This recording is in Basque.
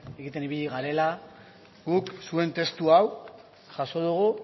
egiten ibili garela guk zuen testu hau jaso dugu